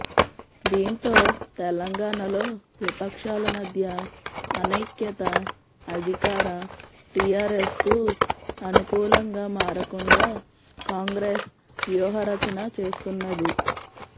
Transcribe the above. దీంతో తెలంగాణలో విపక్షాల మధ్య ఆనైక్యత అధికార టీఆర్ఎస్కు అనుకూలంగా మారకుండా కాంగ్రెస్ వ్యూహ రచన చేస్తున్నది